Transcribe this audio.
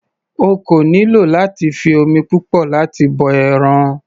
O kò nílò láti fi omi púpọ̀ láti bọ ẹran.